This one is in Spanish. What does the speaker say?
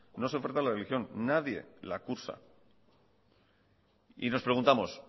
no se oferta la religión nadie la cursa y nos preguntamos